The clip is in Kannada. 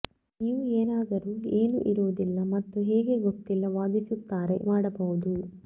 ನೀವು ಏನಾದರೂ ಏನೂ ಇರುವುದಿಲ್ಲ ಮತ್ತು ಹೇಗೆ ಗೊತ್ತಿಲ್ಲ ವಾದಿಸುತ್ತಾರೆ ಮಾಡಬಹುದು